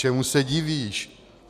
Čemu se divíš?